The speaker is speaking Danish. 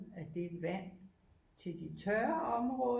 Af det vand til de tørre områder